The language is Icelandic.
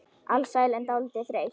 Alsæl en dálítið þreytt.